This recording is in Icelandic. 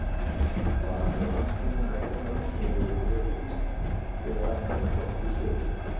Var hann mjög andsnúinn ættarnöfnunum sem voru mjög í tísku þegar þarna var komið sögu.